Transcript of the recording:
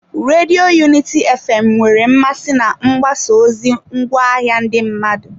Redio Unity fm nwere mmasị na mgbasa ozi ngwaahịa ndị mmadụ.